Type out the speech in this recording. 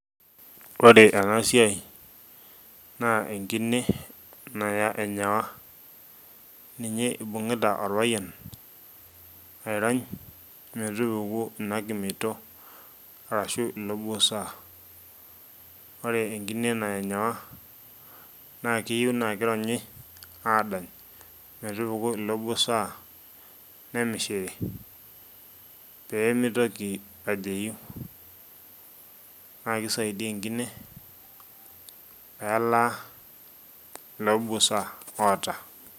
ore ena siai naa enkine naya enyawa, ninye ibungita orpayian airony metupuku ina kimeito. arashu ilo buusa. ore enkine naya enyawa naa keyieu naa kironyi aadany, metupuku ilo busaa. nemishiri pee meitoki ajeyu, naa kisaidia enkine pee elaa ilo buusa oota.